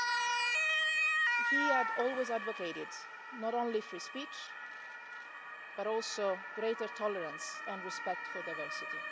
Jamal Khashoggi had always advocated not only free speech, but also greater tolerance and respect for diversity.